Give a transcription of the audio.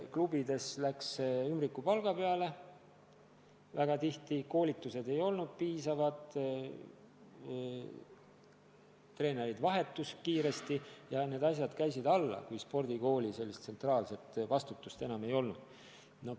Klubides mindi väga tihti välja ümbrikupalga peale, koolitused ei olnud piisavad, treenerid vahetusid kiiresti ja kogu tegevus käis alla, kui spordikooli tsentraalset vastutust enam ei olnud.